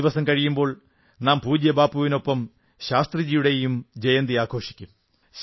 രണ്ടു ദിവസം കഴിയുമ്പോൾ നാം പൂജ്യബാപ്പുവിനൊപ്പം ശാസ്ത്രിജിയുടെയും ജയന്തി ആഘോഷിക്കും